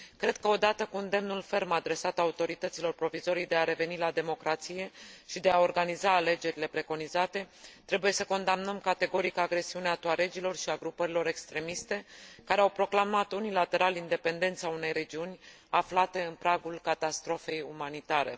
Cred că odată cu îndemnul ferm adresat autorităților provizorii de a reveni la democrație și de a organiza alegerile preconizate trebuie să condamnăm categoric agresiunea tuaregilor și a grupărilor extremiste care au proclamat unilateral independența unei regiuni aflate în pragul catastrofei umanitare.